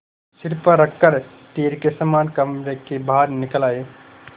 सिर पर रख कर तीर के समान कमरे के बाहर निकल आये